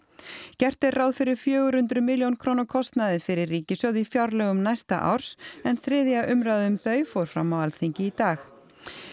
gert er ráð fyrir fjögur hundruð milljóna króna kostnaði fyrir ríkissjóð í fjárlögum næsta árs en þriðja umræða um þau fór fram á Alþingi í dag